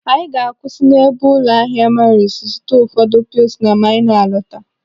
Anyị ga-akwụsị n'ebe ụlọ ahịa Maris zụta ụfọdụ pilsner ma anyị na-alọta.